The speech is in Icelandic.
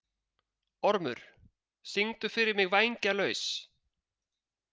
Ormur, syngdu fyrir mig „Vængjalaus“.